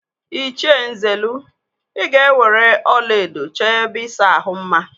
Ịchie Nzelu, ị ga-eweere ọlaedo chọọ ebe ịsa ahụ mma!